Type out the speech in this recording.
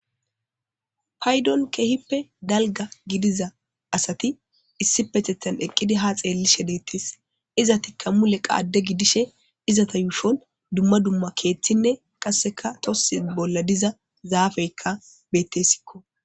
Paydon keehippe dalgga gidiza asati issipetettan eqqidi haa xeellishe deettees. Izatikka mule qa adde gidishe izata yuushon dumma dumma keethinne qasseka tosse bolla diza zaafeykka beetteesikko.